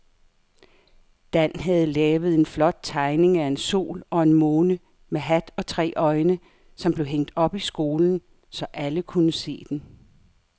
Dan havde lavet en flot tegning af en sol og en måne med hat og tre øjne, som blev hængt op i skolen, så alle kunne se den.